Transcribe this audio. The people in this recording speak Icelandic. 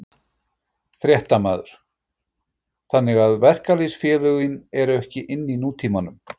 Fréttamaður: Þannig að verkalýðsfélögin eru ekki inn í nútímanum?